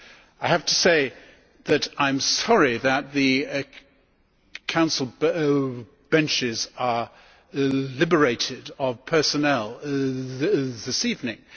I have to say that I am sorry that the Council benches are liberated of personnel this evening.